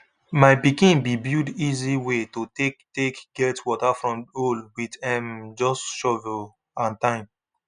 my pikin been build easy way to take take get water from hole with um just shovel and time